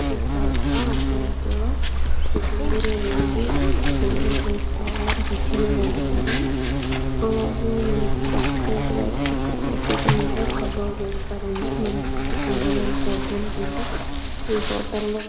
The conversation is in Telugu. చూస్తున్నారు కదా ఆ ప్లేట్ లో చికెన్ బిర్యానీ ఉంది. చికెన్ బిర్యానీ చాలా రుచిగా వండుతారు. అలాగే మనకు సెపరేట్ గా చిక్ చికెన్ కూడా కబాబ్ వేస్తారండి. మనం చికెన్ బిర్యానీ వద్దనుకుంటే ఈ హోటల్ లో--